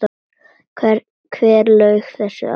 Hver laug þessu að þér?